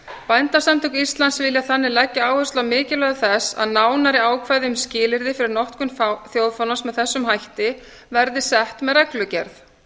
bændasamtök íslands vilja þannig leggja áherslu á mikilvægi þess að nánari ákvæði um skilyrði fyrir notkun þjóðfánans með þessum hætti verði sett með reglugerð